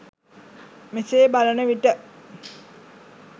මෙසේ බලන විට